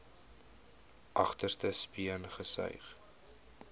agterste speen gesuig